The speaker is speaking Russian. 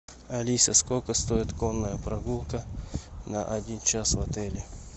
алиса сколько стоит конная прогулка на один час в отеле